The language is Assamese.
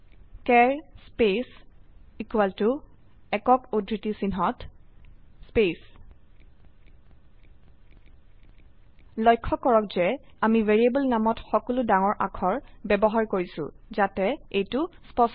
চাৰ স্পেচ একক উদ্ধৃতি চিহ্নত স্পেচ লক্ষ্য কৰক যে আমি ভ্যাৰিয়েবল নামত সকলো ডাঙৰ অক্ষৰ ব্যবহাৰ কৰিছো যাতে এইটো স্পষ্ট হয়